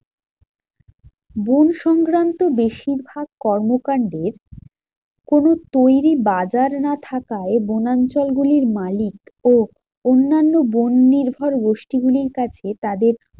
বন সংক্রান্ত বেশিরভাগ কর্মকান্ডের কোনো তৈরী বাজার না থাকায় বনাঞ্চলগুলির মালিক ও অন্যান্য বন নির্ভর গোষ্ঠীগুলির কাছে তাদের